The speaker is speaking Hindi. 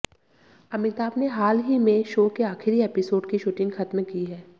अमिताभ ने हाल ही में शो के आखिरी एपिसोड की शूटिंग खत्म की है